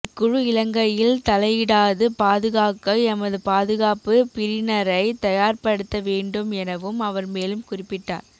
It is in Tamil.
இக்குழு இலங்கையில் தலையிடாது பாதுகாக்க எமது பாதுகாப்புப் பிரினரை தயார்படுத்த வேண்டும் எனவும் அவர் மேலும் குறிப்பிட்டார்